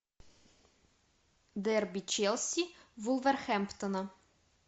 дерби челси вулверхэмптона